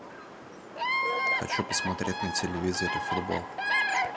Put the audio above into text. хочу посмотреть на телевизоре футбол